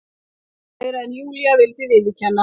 Meira en Júlía vildi viðurkenna.